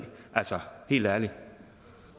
altså helt ærligt